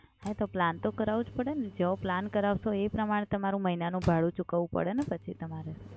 હા, તો plan તો કરાવવો જ પડે ને? જેવો plan કરાવશો એ પ્રમાણે તમારું મહિનાનું ભાડું ચૂકવવું પડે ને પછી તમારે.